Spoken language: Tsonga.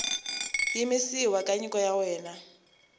yimisiwa ka nyiko ya wena